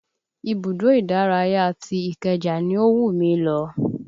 Ibùdó ìdárayá ti ìkeja ni ó wù mí lọ